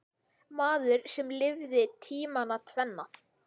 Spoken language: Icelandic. Maður sem lifði tímana tvenna.